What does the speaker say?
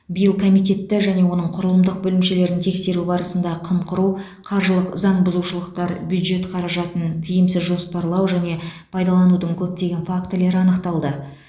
биыл комитетті және оның құрылымдық бөлімшелерін тексеру барысында қымқыру қаржылық заң бұзушылықтар бюджет қаражатын тиімсіз жоспарлау және пайдаланудың көптеген фактілері анықталды